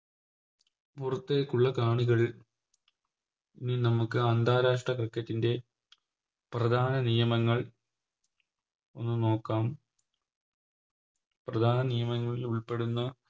പുറത്തേക്കുള്ള കാണികളിൽ ഇനി നമുക്ക് അന്താരാഷ്ട്ര Cricket ൻറെ പ്രധാന നിയമങ്ങൾ ഒന്ന് നോക്കാം പ്രധാന നിയമങ്ങളിൽ ഉൾപ്പെടുന്ന